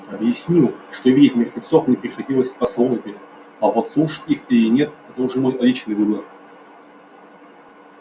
объяснил что видеть мертвецов мне приходилось по службе а вот слушать их или нет это уже мой личный выбор